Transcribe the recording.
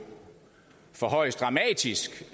forhøjes dramatisk